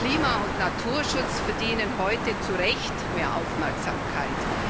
Klima und Naturschutz verdienen heute zu Recht mehr Aufmerksamkeit.